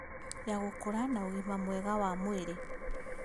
Ya gũkũra na ũgima mwega wa mwĩrĩ